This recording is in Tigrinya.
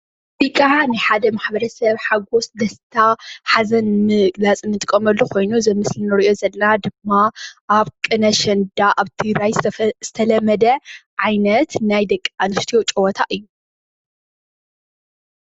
እዙይ ከዓ ናይ ሓደ ማሕበረሰብ ሓጎስ ደስታ ሓዘን ንምግላፅ እንጥቀመሉ ኮይኑ እዙይ ኣብ ምስሊ እንርእዮ ዘለና ድማ ኣብ ቅነ ኣሸንዳ ኮይኑ ኣብ ትግራይ ዝተለመደ ዓይነት ናይ ደቂ ኣንስትዮ ጨወታ እዩ።